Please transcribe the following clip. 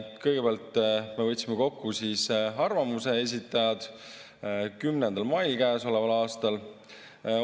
Kõigepealt me võtsime arvamuse esitajad 10. mail käesoleval aastal kokku.